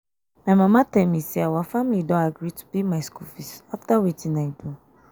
my mama tell me say our family don agree to pay my school fees after wetin um i do